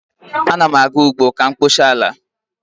Ana m aga ugbo ka m kpochaa ala